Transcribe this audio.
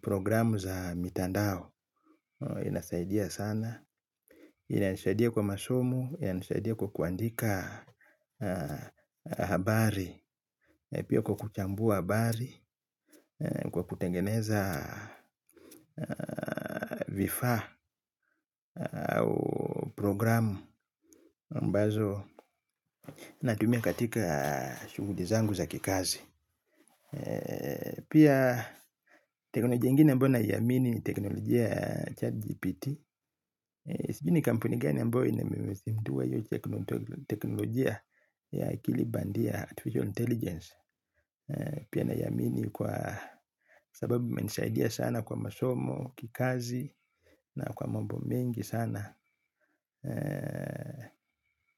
programu za mitandao. Inasaidia sana inanisaidia kwa masomo, yanisaidia kwa kuandika habari. Pia kwa kuchambua habari. Kwa kutengeneza vifaa au program ambazo natumia katika shughuli zangu za kikazi. Pia teknolojia ingine ambayo naiamini ni teknolojia ya chatGPT. Sijui ni kampuni gani ambayo imezindua hiyo teknolojia ya akili bandia artificial intelligence. Pia naiamini kwa sababu imenisaidia sana kwa masomo, kikazi na kwa mambo mengi sana.